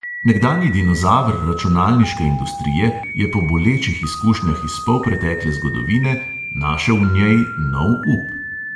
Nekdanji dinozaver računalniške industrije je po bolečih izkušnjah iz polpretekle zgodovine našel v njej nov up.